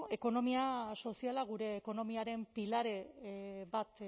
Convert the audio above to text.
bueno ekonomia soziala gure ekonomiaren pilare bat